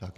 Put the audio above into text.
Tak.